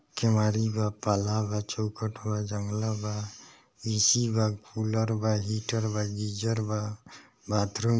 केवाड़ी बा चौखट बा जंगला बा ए.सी. बा कूलर बा हीटर बा गीजर बा बाथरूम --